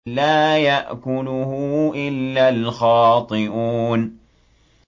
لَّا يَأْكُلُهُ إِلَّا الْخَاطِئُونَ